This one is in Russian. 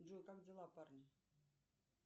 джой как дела парни